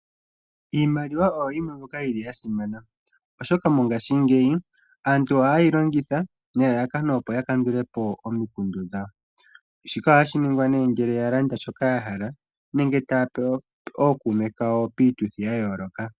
Iimaliwa oyo yimwe mbyoka yili ya simana oshoka mongashingeyi aantu ohayeyi longitha nelalakano opo ya kandule po omikundu dhawo shika ohashi ningwa nee ngele landa shoka ya hala nenge taa pe ookume kawo piituthi ya yooloka.